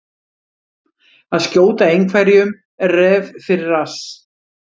Að skjóta einhverjum ref fyrir rass